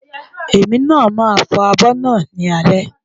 Èmi ni màá fọ abọ́ náà lálẹ́.